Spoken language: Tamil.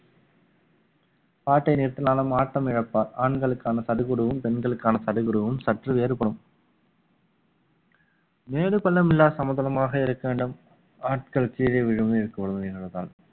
பாட்டை நிறுத்தினாலும் ஆட்டம் இழப்பார் ஆண்களுக்கான சடுகுடுவும் பெண்களுக்கான சடுகுடுவும் சற்று வேறுபடும் மேடு பள்ளம் இல்ல சமதளமாக இருக்க வேண்டும் ஆட்கள் கீழே